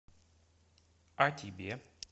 а тебе